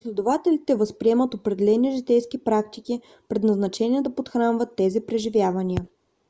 последователите възприемат определени житейски практики предназначени да подхранват тези преживявания